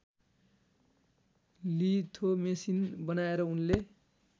लिथोमेसिन बनाएर उनले